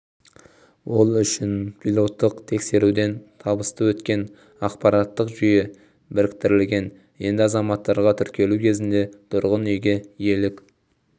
ол үшін пилоттық тексеруден табысты өткен ақпараттық жүйе біріктірілген енді азаматтарға тіркелу кезінде тұрғын үйге иелік